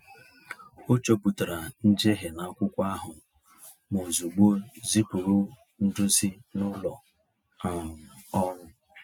O chopụtara njehie n’akwụkwọ ahụ ma ozugbo zipụrụ ndozi na ụlọ um ọrụ.